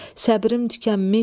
Səbrim tükənmiş.